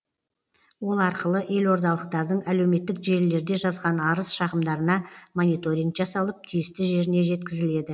ол арқылы елордалықтардың әлеуметтік желілерде жазған арыз шағымдарына мониторинг жасалып тиісті жеріне жеткізіледі